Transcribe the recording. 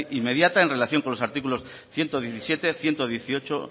inmediata en relación con los artículos ciento diecisiete ciento dieciocho